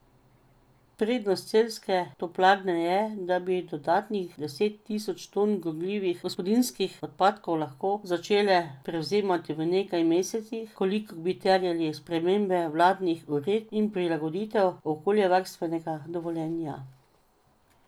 Prednost celjske toplarne je, da bi dodatnih deset tisoč ton gorljivih gospodinjskih odpadkov lahko začela prevzemati v nekaj mesecih, kolikor bi terjali sprememba vladnih uredb in prilagoditev okoljevarstvenega dovoljenja.